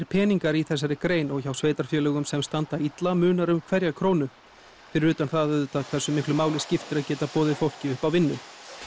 peningar í þessari grein og hjá sveitarfélögum sem standa illa munar um hverja krónu fyrir utan það hversu miklu máli skiptir að geta boðið fólki upp á vinnu